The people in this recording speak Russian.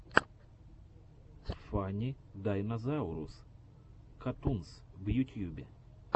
фанни дайнозаурус катунс в ютьюбе